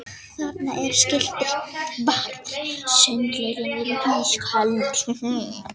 Þarna var skilti: Varúð sundlaugin er ísköld